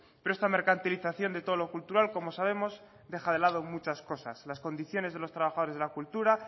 pero esta mercantilización de todo lo cultural como sabemos deja de lado muchas cosas las condiciones de los trabajadores de la cultura